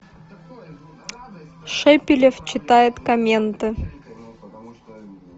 шепелев читает комменты